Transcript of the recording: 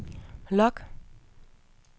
log